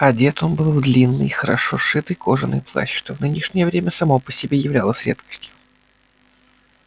одет он был в длинный и хорошо сшитый кожаный плащ что в нынешнее время само по себе являлось редкостью